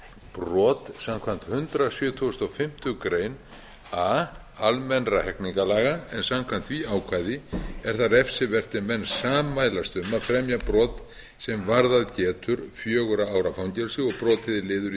brot samkvæmt hundrað sjötugasta og fimmtu grein a almennra hegningarlaga en samkvæmt því ákvæði er það refsivert ef menn sammælast um að fremja brot sem varðað getur fjögurra ára fangelsi og brotið er liður í